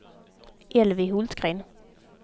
Elvy Hultgren